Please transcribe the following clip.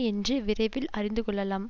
என்று விரைவில் அறிந்து கொள்ளலாம்